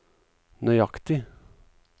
nøyaktig